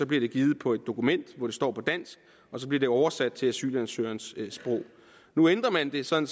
bliver den givet på et dokument hvor det står på dansk og så bliver det oversat til asylansøgerens sprog nu ændrer man det sådan